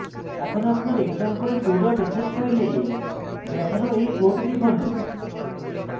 এখন আপনার example2 dot sh file দেখানো এই code লিখুন